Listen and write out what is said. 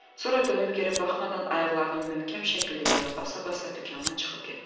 Sonra dönüb geri baxmadan ayaqlarını möhkəm şəkildə yerə basa-basa dükandan çıxıb getdi.